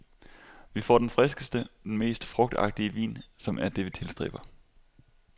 Vi får den friskeste, den mest frugtagtige vin, som er det vi tilstræber.